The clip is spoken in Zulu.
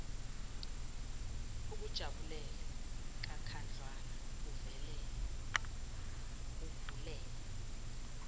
ukujabulele kakhudlwana uvulele